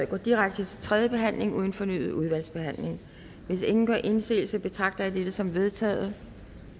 går direkte til tredje behandling uden fornyet udvalgsbehandling hvis ingen gør indsigelse betragter jeg dette som vedtaget